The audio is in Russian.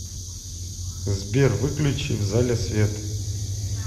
сбер выключи в зале свет